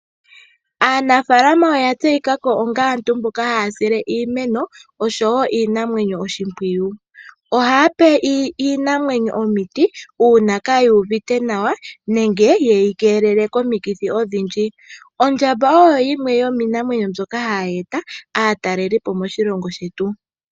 Aanafaalama oya tseyikako onga aantu mboka haya sile iimeno oshowo iinamwenyo oshimpwiyu. Ohaya pe iinamwenyo omiti uuna kayi uvite nawa nenge yeyi keelele komikithi odhindji . Ondjamba oyo yimwe yomiinamwenyo mbyoka hayi eta aatalelipo moshilongo shetu.